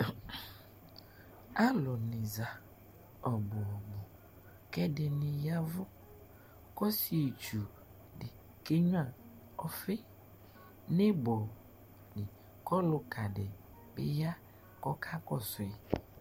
Alʊ nɩ za ɔbʊ, kɛdɩnɩ ƴavʊ kɔsɩetsʊ dɩ keɣnʊa ɔfɩ nɩbɔ lɩ kɔlʊka dɩ bɩ ƴa kɔka kɔsʊɩ